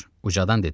Ucadan dedi: